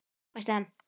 hvæsti hann.